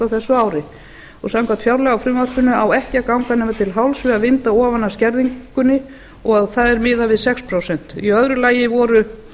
á þessu ári samkvæmt fjárlagafrumvarpinu á ekki að ganga nema til hálfs við að vinda ofan af skerðingunni og það er miðað við sex prósent í öðru lagi voru